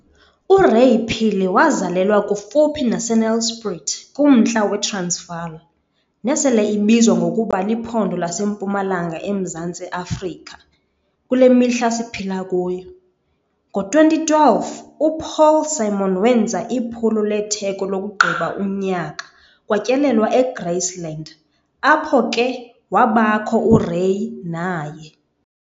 URay Phiri wazalelwa kufuphi naseNelspruit kumntla weTransvaal, nesele ibizwa ngokuba Liphondo laseMpumalanga eMzantsi Afrika, kule mihla siphila kuyo. Ngo2012, uPaul Simon wenza iphulo letheko lokugqiba unyaka kwatyelelwa eGraceland, apho ke wabakho uRay naye.